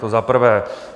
To za prvé.